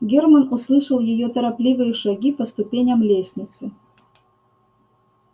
германн услышал её торопливые шаги по ступеням лестницы